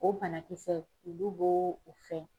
O banakisɛ olu bo o fɛn.